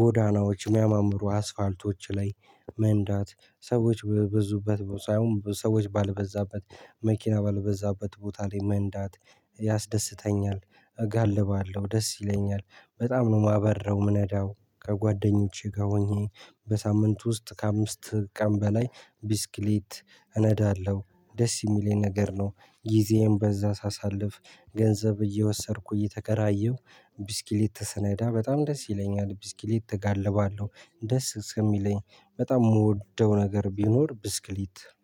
ጎዳናዎች የሚያማምሩ አስፋልቶች ላይ መንዳት፣ ሰዎች በበዙበት ሳይሆን ሰዎች ባልበዛበት መኪና ባልበዛበት ቦታ ላይ መንዳት ያስደስተኛል። እጋልባለሁ። ደስ ይለኛል። በጣም ነው የማበርረው። የምነዳው። ከጓደኞቼ ጋር ሆኜ በሳምንት ውስጥ ከአምስት ቀን በላይ ብስክሌት እነዳለሁ። ደስ የሚለኝ ነገር ነው። ጊዜየን በዛ ሳሳልፍ ገንዘብ እየወሰድኩ እየተከራየሁ ብስክሌት ስነዳ በጣም ደስ ይለኛል። ብስክሌት እጋልባለሁ። ደስ ስለሚለኝ በጣም የምወደው ነገር ቢኖር ብስክሌት